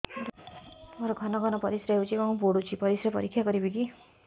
ମୋର ଘନ ଘନ ପରିସ୍ରା ହେଉଛି ଏବଂ ପଡ଼ୁଛି ପରିସ୍ରା ପରୀକ୍ଷା କରିବିକି